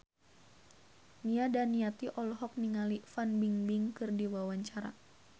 Nia Daniati olohok ningali Fan Bingbing keur diwawancara